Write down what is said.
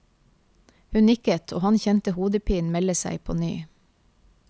Hun nikket og han kjente hodepinen melde seg på ny.